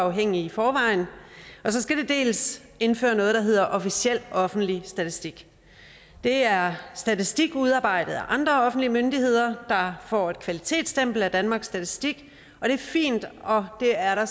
uafhængige i forvejen dels skal indføre noget der hedder officiel offentlig statistik det er statistik udarbejdet af andre offentlige myndigheder der får et kvalitetsstempel af danmarks statistik og det er fint og det er der